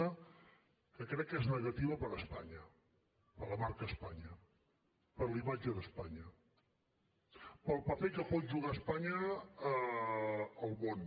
una que crec que és negativa per a espanya per a la marca espanya per a la imatge d’espanya pel paper que pot jugar espanya al món